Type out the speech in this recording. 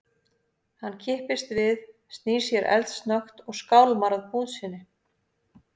Hann kippist við, snýr sér eldsnöggt og skálmar að búð sinni.